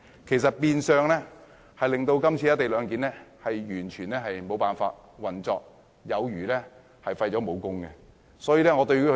這些修正案會變相令"一地兩檢"的安排完全無法運作，有如被廢武功。